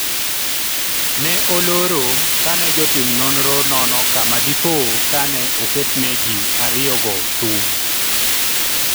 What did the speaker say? ne olor kane jotim nonro nono kama dipo ka ne oketne jii ariyo go sum